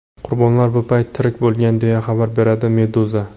Qurbonlar bu payt tirik bo‘lgan, deya xabar beradi Meduza.